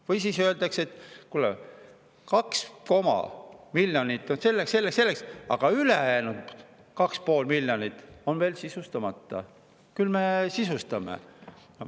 Või siis öeldakse, et kuule, 2,5 miljonit on selleks, selleks ja selleks, aga ülejäänud 2,5 miljonit on veel sisustamata, et küll me sisustame.